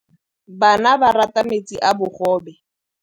Bana ba rata metsi a mogobe.